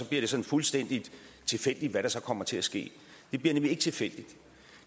det sådan fuldstændig tilfældigt hvad der så kommer til at ske det bliver nemlig ikke tilfældigt